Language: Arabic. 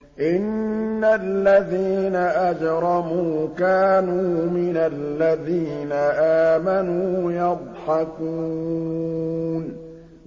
إِنَّ الَّذِينَ أَجْرَمُوا كَانُوا مِنَ الَّذِينَ آمَنُوا يَضْحَكُونَ